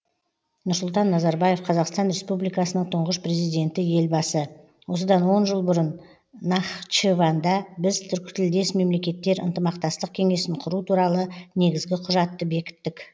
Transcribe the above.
нұрсұлтан назарбаев қазақстан республикасының тұңғыш президенті елбасы осыдан он жыл бұрын нахчыванда біз түркітілдес мемлекеттер ынтымақтастық кеңесін құру туралы негізгі құжатты бекіттік